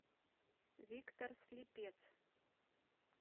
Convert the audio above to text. виктор слепец